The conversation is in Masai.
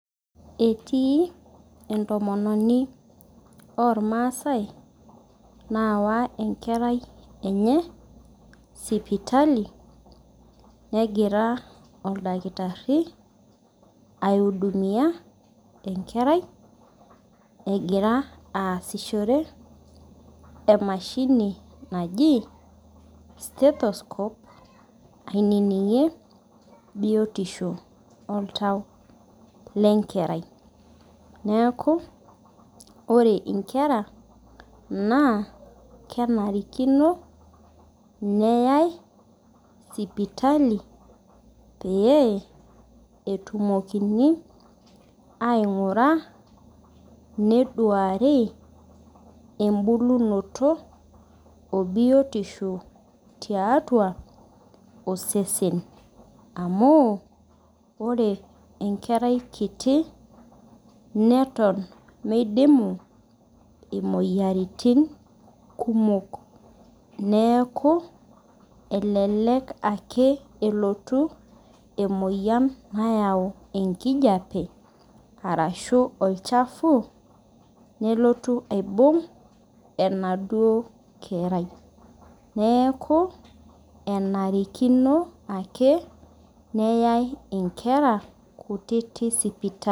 Etii entomononi ormaasai nayawa enkerai enye aya sipitali negira aiudumia enkerai egira aasishore emashini naji stetoscope ainingir biotisho oltau lenakerai neaku ore nkera na kenarikino neyai sipitali oleng etumokini aingura neduaru embulunoto obulotisho tiatua osesen amu ore enkerai kiti neton midimu moyiaritin kumok neaku elelek elotu emoyian nayau enkijape arashu olchafu nelotu aibung enaduo kerai neaku enarikino ake neyae nkera sipitali.